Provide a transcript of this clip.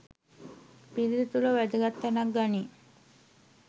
පිරිත තුළ වැදගත් තැනක් ගනියි.